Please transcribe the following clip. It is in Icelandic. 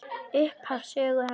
Upphaf sögu hans.